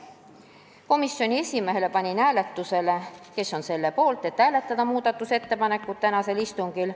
Komisjoni esimehena panin hääletusele, kes on selle poolt, et hääletada muudatusettepanekuid samal istungil.